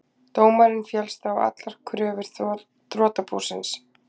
Dómarinn féllst á allar kröfur þrotabúsins